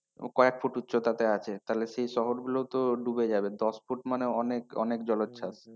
কয়েক ফুট উচ্চতা তে আছে তাহলে সে শহরগুলো তো ডুবে যাবে, দশ ফুট মানে অনেক অনেক জলোচ্ছ্বাস।